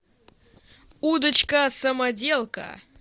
удочка самоделка